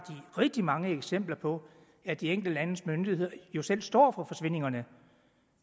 rigtig mange eksempler på at de enkelte landes myndigheder jo selv står for forsvindingerne